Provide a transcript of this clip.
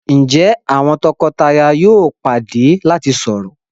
Njé àwọn toko-taya yóò pàdé lati sọrọ.?